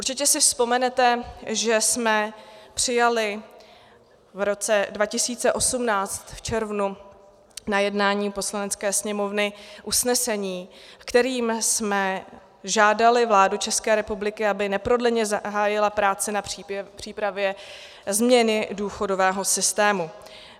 Určitě si vzpomenete, že jsme přijali v roce 2018 v červnu na jednání Poslanecké sněmovny usnesení, kterým jsme žádali vládu České republiky, aby neprodleně zahájila práce na přípravě změny důchodového systému.